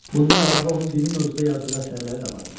Bundan əlavə onun dini mövzuda yazdığı əsərləri də vardır.